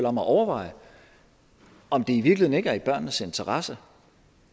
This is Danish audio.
om at overveje om det i virkeligheden ikke er i børnenes interesse